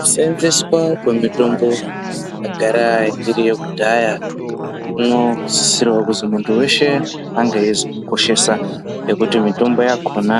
Kusenzeswa kwemitombo yagara iri yekudhaya kunosisirewo kuzi munthu weshe ange ezvikoshesa ngekuti imweni mitombo yakona